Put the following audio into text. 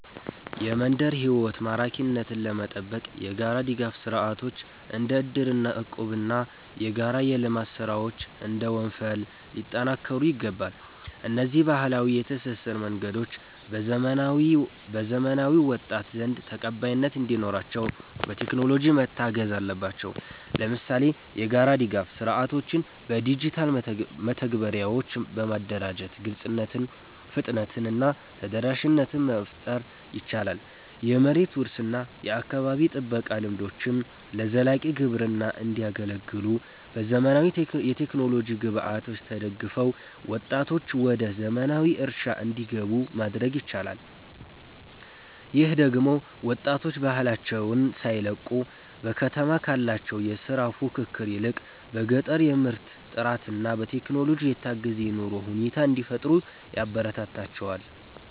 የመንደር ሕይወት ማራኪነትን ለመጠበቅ የጋራ ድጋፍ ሥርዓቶች (እንደ እድርና እቁብ) እና የጋራ የልማት ሥራዎች (እንደ ወንፈል) ሊጠናከሩ ይገባል። እነዚህ ባህላዊ የትስስር መንገዶች በዘመናዊው ወጣት ዘንድ ተቀባይነት እንዲኖራቸው፣ በቴክኖሎጂ መታገዝ አለባቸው። ለምሳሌ፣ የጋራ ድጋፍ ሥርዓቶችን በዲጂታል መተግበሪያዎች በማደራጀት ግልጽነትን፣ ፍጥነትን እና ተደራሽነትን መፍጠር ይቻላል። የመሬት ውርስ እና የአካባቢ ጥበቃ ልምዶችም ለዘላቂ ግብርና እንዲያገለግሉ፣ በዘመናዊ የቴክኖሎጂ ግብዓቶች ተደግፈው ወጣቶች ወደ ዘመናዊ እርሻ እንዲገቡ ማድረግ ይቻላል። ይህ ደግሞ ወጣቶች ባህላቸውን ሳይለቁ፣ በከተማ ካለው የሥራ ፉክክር ይልቅ በገጠር የምርት ጥራትና በቴክኖሎጂ የታገዘ የኑሮ ሁኔታ እንዲፈጥሩ ያበረታታቸዋል